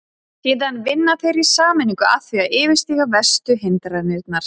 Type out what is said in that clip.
Síðan vinna þeir í sameiningu að því að yfirstíga verstu hindranirnar.